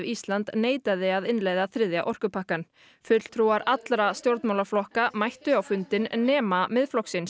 Ísland neitaði að innleiða þriðja orkupakkann fulltrúar allra stjórnmálaflokka mættu á fundinn nema Miðflokksins